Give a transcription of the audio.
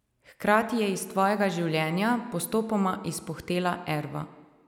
Hkrati je iz tvojega življenja postopoma izpuhtela Erva.